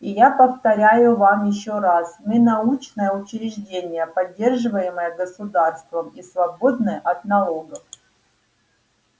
и я повторяю вам ещё раз мы научное учреждение поддерживаемое государством и свободное от налогов